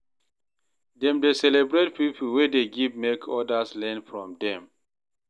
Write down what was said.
Dem dey celebrate pipo wey dey give make odas learn from dem.